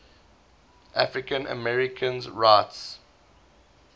african americans rights